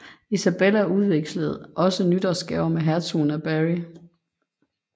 Isabella udvekslede også nytårsgaver med hertugen af Berry